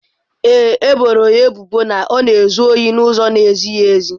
Ee e, e boro ya ebubo na ọ na-ezu ohi n'ụzọ na-ezighị ezi.